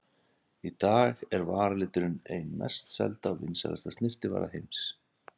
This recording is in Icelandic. Í dag er varaliturinn ein mest selda og vinsælasta snyrtivara heims.